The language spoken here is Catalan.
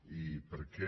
i perquè